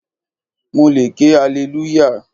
Mo le ké alelúyà.